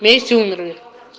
вместе умерли